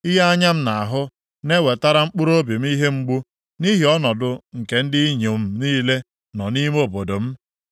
Ihe anya m na-ahụ na-ewetara mkpụrụobi m ihe mgbu, nʼihi ọnọdụ nke ndị inyom niile nọ nʼime obodo m.